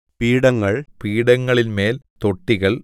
പീഠങ്ങൾ പീഠങ്ങളിന്മേൽ തൊട്ടികൾ